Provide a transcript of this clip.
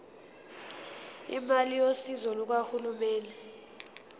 imali yosizo lukahulumeni